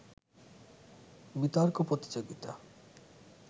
বিতর্ক প্রতিযোগিতা